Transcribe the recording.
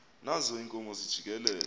nazo iinkomo zijikeleza